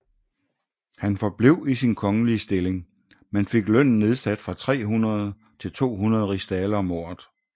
Han forblev i sin kongelige stilling men fik lønnen nedsat fra 300 til 200 rigsdaler om året